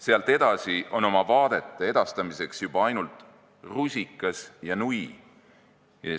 Sealt edasi on oma vaadete edastamiseks juba ainult rusikas ja nui.